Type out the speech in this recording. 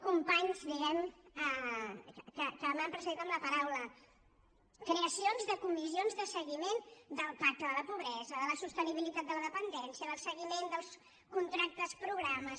companys diguemne que m’han precedit en la paraula creacions de comissions de seguiment del pacte de la pobresa de la sostenibilitat de la dependència del seguiment del contractes programes